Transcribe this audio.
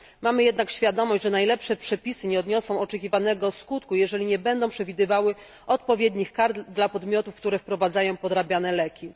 Mamy jednak świadomość, że najlepsze przepisy nie odniosą oczekiwanego skutku, jeżeli nie będą przewidywały odpowiednich kar dla podmiotów, które wprowadzają podrabiane leki.